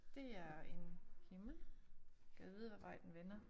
Det er en himmel gad vide havd vej den vender